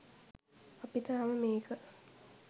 අපි තාම මේක